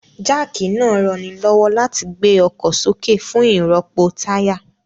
Jáàkì náà ranilọ́wọ́ láti gbé ọkọ̀ sókè fún ìrọ́pò táyà